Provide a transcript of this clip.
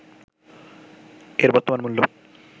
এর বর্তমান মূল্য